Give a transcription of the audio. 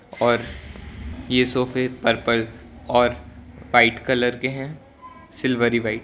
और ये सोफे पर्पल और वाइट कलर के हैं सिल्वरी व्हाइट --